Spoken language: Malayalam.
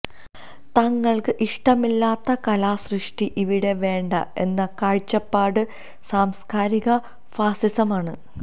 തങ്ങൾക്ക് ഇഷ്ടമില്ലാത്ത കലാസൃഷ്ടി ഇവിടെ വേണ്ട എന്ന കാഴ്ചപ്പാട് സാംസ്ക്കാരിക ഫാസിസമാണ്